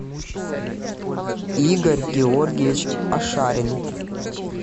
игорь георгиевич ашарин